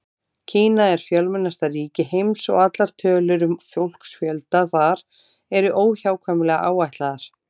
Kína er fjölmennasta ríki heims og allar tölur um fólksfjölda þar eru óhjákvæmilega áætlaðar.